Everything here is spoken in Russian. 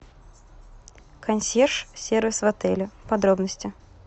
консьерж сервис в отеле подробности